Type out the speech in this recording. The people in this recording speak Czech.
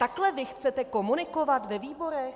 Takhle vy chcete komunikovat ve výborech?